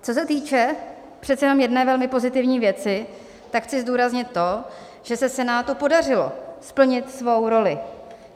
Co se týče přece jenom jedné velmi pozitivní věci, tak chci zdůraznit to, že se Senátu podařilo splnit svou roli.